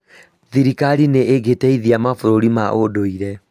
thirikari nĩ ĩgĩteithia mabũrũri ma ũndũire